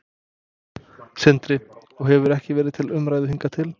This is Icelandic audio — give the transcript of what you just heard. Sindri: Og hefur ekki verið til umræðu hingað til?